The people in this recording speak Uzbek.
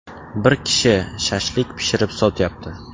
Bir kishi ‘shashlik’ pishirib sotyapti.